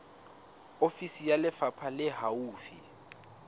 ofisi ya lefapha le haufi